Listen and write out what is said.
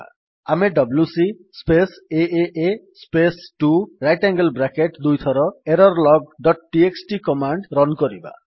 ଆମେ WC space AA space 2 right angle bracket ଦୁଇଥର error log dot TXT command run କରିବା